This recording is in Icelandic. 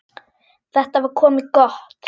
Þetta var komið gott.